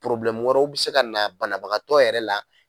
wɛrɛ bɛ se ka na banabagatɔ yɛrɛ la.